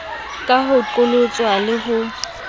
ka ho qholotswa le ho